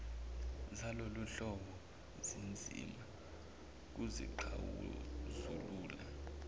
zaloluhlobo zinzima kuzixazulula